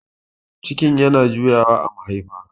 cikin yana juyawa a mahaifa